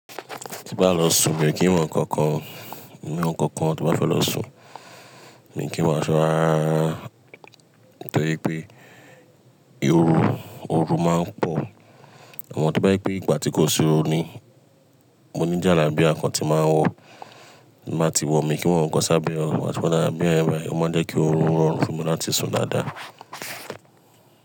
Bá lọ sùn, mi ò kí n wọ ǹkankan ò. Mi ò n wọ ǹkankan tí mo bá fẹ́ lọ sùn. Mi ò kí n wọ aṣọ rárá rárá nítorí pé ìhoru, ooru máa ń pọ̀. A mọ́ tó bá jẹ́ pé ìgbà tí kò sí ooru ni. Mo ní jàlábía kan tí máa ń wọ, màá ti wọ̀, mi ò kí wọ ǹkan sábẹ́ rẹ, ài kí n wo ǹkan sábẹ́ rẹ, o máa jẹ́ kí oorun rọrùn fún mi láti sùn dáadáa.